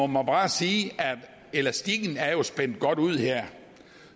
må bare sige at elastikken er spændt godt ud her